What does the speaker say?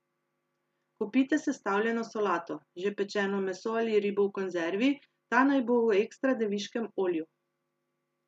Kupite sestavljeno solato, že pečeno meso ali ribo v konzervi, ta naj bo v ekstra deviškem olju.